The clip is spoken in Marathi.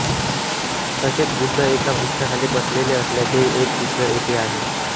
तसेच बुद्ध एका वृक्षाखाली बसलेले असल्याचेही एक चित्र येथे आहे